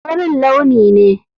Farin launi ne.